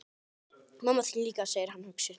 Mamma þín líka, segir hann hugsi.